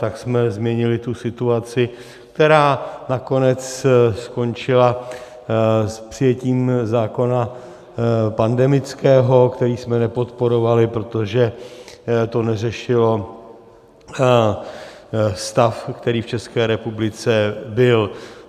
Tak jsme zmínili tu situaci, která nakonec skončila s přijetím zákona pandemického, který jsme nepodporovali, protože to neřešilo stav, který v České republice byl.